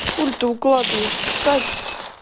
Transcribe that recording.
хули ты укладываешься встань